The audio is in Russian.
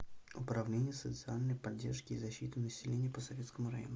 управление социальной поддержки и защиты населения по советскому району